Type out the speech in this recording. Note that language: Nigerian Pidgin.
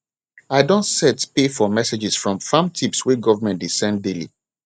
i don set pay for messages from farm tips wey government dey send daily